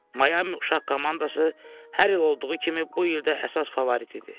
Mayami uşaq komandası hər il olduğu kimi bu il də əsas favorit idi.